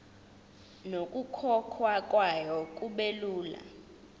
nokukhokhwa kwayo kubelula